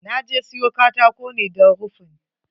Na je siyo katako ne don rufin.